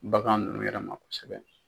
Bagan ninnu yɛrɛ ma kosɛbɛ.